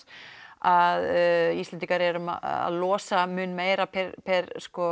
að Íslendingar eru að losa mun meira per